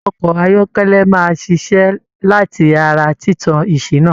Ọkọ ayọkẹlẹ máa ṣiṣẹ lati ará títàn ìṣìnà.